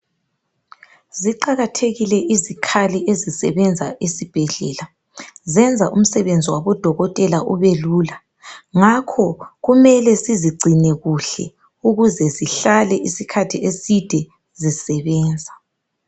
Ziqakathekile izikhali ezisebenza esibhedlela. Zenza umsebenzi wabodokotela ubelula. Ngakho kumele sizigcine kuhle ukuze zihlale isikhathi eside zisebenza.